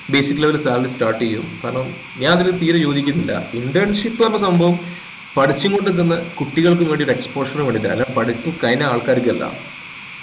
basic level salary start ചെയ്യുംകാരണം ഞാൻ അതിൽ തീരെ യോജിക്കുന്നില്ല internship ന്നു പറയുന്ന സംഭവം പഠിച്ചും കൊണ്ട് നിക്കുന്ന കുട്ടികൾക്ക് ഒരു exposure വേണ്ടീട്ട അല്ലാണ്ട് പഠിപ്പ് കഴിഞ്ഞ ആൾക്കർക്കല്ല